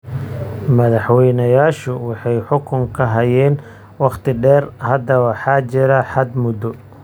Madaxwaynayaashu waxay xukunka hayeen wakhti dheer. Hadda waxa jira xad muddo